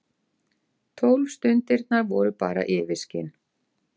Tólf stundirnar voru bara yfirskin.